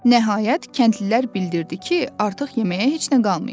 Nəhayət, kəndlilər bildirdi ki, artıq yeməyə heç nə qalmayıb.